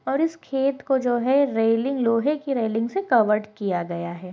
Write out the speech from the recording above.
और इस खेत को जो है रेलिंग लोहे की रेलिंग से कवर्ड किया गया है।